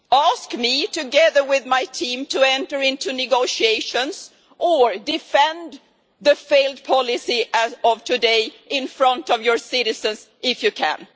Ask me, together with my team, to enter into negotiations, or defend the failed policy as of today in front of your citizens, if you can.